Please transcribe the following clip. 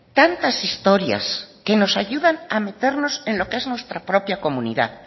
tantas historias que nos ayudan a meternos en lo que es nuestra propia comunidad